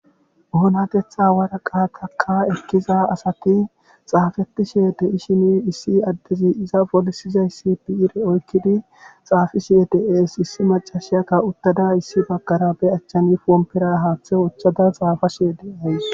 Oonatetha waraqataka ekkiza asati xaafetishe de7ishimi issi addezi iza polisizayssi bi7ire oykkidi xaafishie de7ees issi macashiyakka uttada issi baggara be achchani poompera haaththe ochchada xaafashe de ays